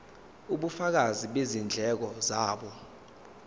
ubufakazi bezindleko zabo